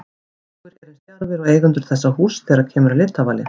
Fáir eru eins djarfir og eigendur þessa húss þegar kemur að litavali.